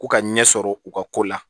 Ko ka ɲɛ sɔrɔ u ka ko la